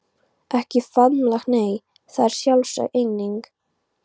Ekki faðmlag nei, það er sjálfsögð eining.